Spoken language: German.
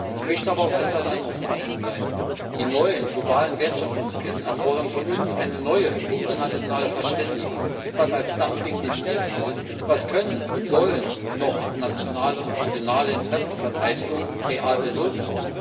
Ich möchte aber noch auf etwas anderes hinweisen Die neuen globalen Wertschöpfungsketten erfordern von uns eine neue internationale Verständigung Was soll als Dumping definiert werden, was kann und soll nationale und regionale Interessensverteidigung noch real bewirken?